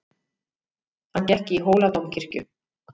Hann gekk í Hóladómkirkju.